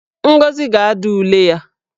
Ngozi ga-ada ule ya.